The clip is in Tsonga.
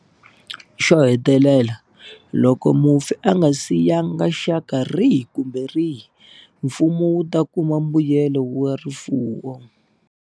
Xo hetelela, loko mufi a nga siyanga xaka rihi kumbe rihi, Mfumo wu ta kuma mbuyelo wa rifuwo.